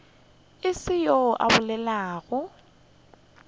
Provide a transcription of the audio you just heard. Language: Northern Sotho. go se yoo a bolelago